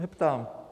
Neptám.